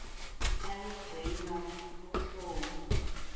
ibi gcinwa luhloni